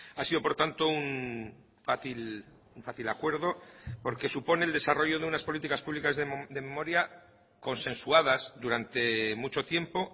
ha sido por tanto un fácil acuerdo porque supone el desarrollo de unas políticas públicas de memoria consensuadas durante mucho tiempo